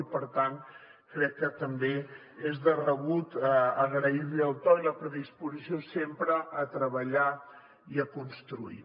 i per tant crec que també és de rebut agrair li el to i la predisposició sempre a treballar i a construir